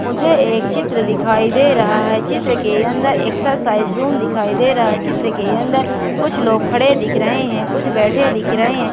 मुझे एक चित्र दिखाई दे रहा है चित्र के अंदर एक्सरसाइज रूम दिखाई दे रहा है चित्र के अंदर कुछ लोग खड़े दिख रहे हैं कुछ बैठे दिख रहे हैं।